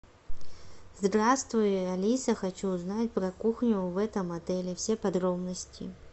здравствуй алиса хочу узнать про кухню в этом отеле все подробности